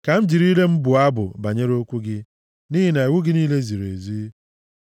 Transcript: Ka m jiri ire m bụọ abụ banyere okwu gị, nʼihi na iwu gị niile ziri ezi.